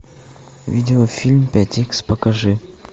видеофильм пять икс покажи